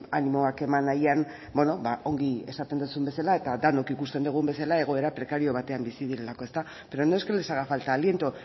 animoak eman nahian bueno ba ongi esaten duzun bezala eta denok ikusten dugun bezala egoera prekario batean bizi direlako ezta pero no es que les haga falta el aliento